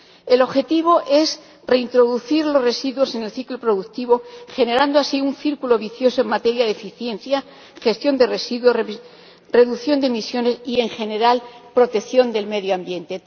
El objetivo es reintroducir los residuos en el ciclo productivo, generando así un círculo virtuoso de eficiencia, gestión de residuos, reducción de emisiones y, en general, protección del medio ambiente.